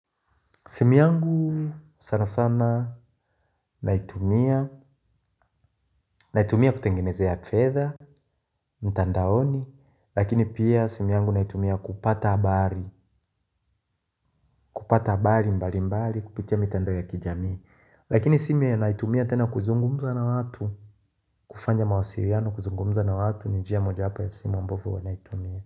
Simu yangu sana sana naitumia, naitumia kutengenezea fetha mtandaoni, lakini pia simu yangu naitumia kupata habari, kupata habari, mbali, mbali, kupitia mitandao ya kijamii, lakini simu hiyo naitumia tena kuzungumza na watu, kufanya mawasiriano, kuzungumza na watu, nijia moja hapa ya simu ambovo huwa naitumia.